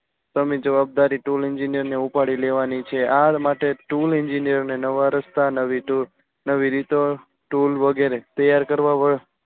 તમે જવાદારી tool engineer ને ઉપાડી લેવાની છે. આ માટે tool engineer ને નવા રસ્તા નવી રીતો tool વગેરે તૈયાર કરવા